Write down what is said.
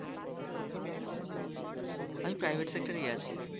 আমি private sector আছি